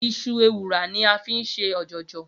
Iṣu ewùrà ni a fi ń ṣe ọ̀jọ̀jọ̀